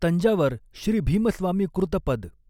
तंजावर श्री भीमस्वामी कृत पद.